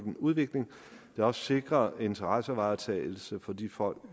udvikling der også sikrer interessevaretagelse for de folk